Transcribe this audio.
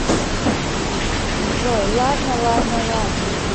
джой ладно ладно ладно